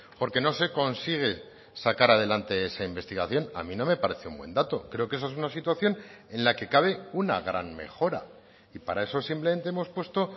porque no se consigue sacar adelante esa investigación a mí no me parece un buen dato creo que esa es una situación en la que cabe una gran mejora y para eso simplemente hemos puesto